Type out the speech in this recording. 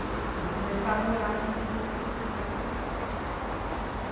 Eu vou começar a morar aqui com os meus cinco filhos.